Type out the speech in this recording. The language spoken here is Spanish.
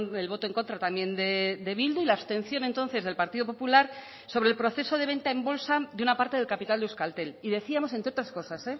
el voto en contra también de bildu y la abstención entonces del partido popular sobre el proceso de venta en bolsa de una parte del capital de euskaltel y decíamos entre otras cosas